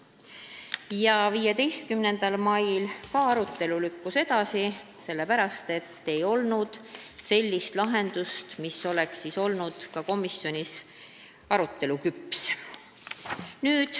Ka 15. mail lükkus selle arutelu edasi, kuna ei olnud sellist lahendust, mis oleks olnud küllalt küps komisjonis arutamiseks.